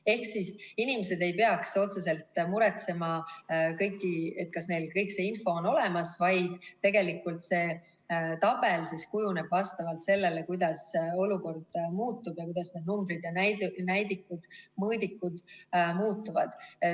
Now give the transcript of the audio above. Ehk inimesed ei peaks otseselt muretsema, kas neil on kogu info olemas, vaid see tabel kujuneb vastavalt sellele, kuidas olukord muutub ja kuidas need numbrid, näidikud ja mõõdikud muutuvad.